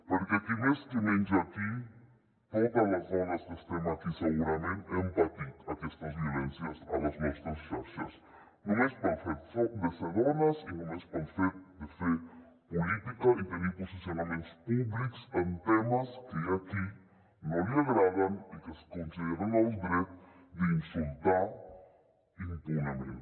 perquè qui més qui menys aquí totes les dones que estem aquí segurament hem patit aquestes violències a les nostres xarxes només pel fet de ser dones i només pel fet de fer política i tenir posicionaments públics en temes que hi ha a qui no li agraden i que es consideren en el dret d’insultar impunement